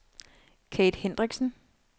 Kathe Hendriksen